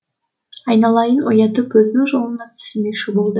айналайын оятып өзінің жолына түсірмекші болды